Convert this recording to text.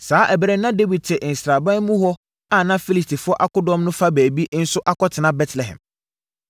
Saa ɛberɛ no na Dawid te sraban mu hɔ a na Filistifoɔ akodɔm no fa bi nso akɔtena Betlehem.